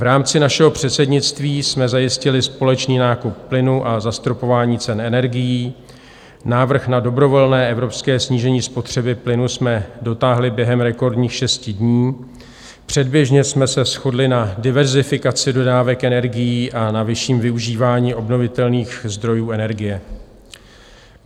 V rámci našeho předsednictví jsme zajistili společný nákup plynu a zastropování cen energií, návrh na dobrovolné evropské snížení spotřeby plynu jsme dotáhli během rekordních šesti dní, předběžně jsme se shodli na diverzifikaci dodávek energií a na vyšším využívání obnovitelných zdrojů energie.